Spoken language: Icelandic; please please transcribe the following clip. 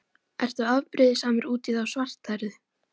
Ertu afbrýðisamur út í þá svarthærðu?